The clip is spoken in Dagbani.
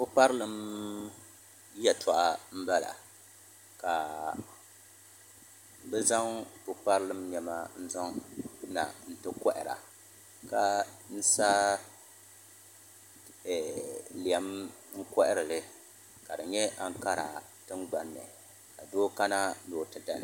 Pukparilim yɛltɔɣa n bala ka bi zaŋ pulparilim niɛma n zaŋna n ti kohara ka sa lɛm n koharili ka di nyɛ ankara tingbanni ka doo kana ni o ti dali